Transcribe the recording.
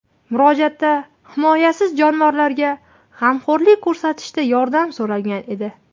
Murojaatda himoyasiz jonivorlarga g‘amxo‘rlik ko‘rsatishda yordam so‘ralgan edi.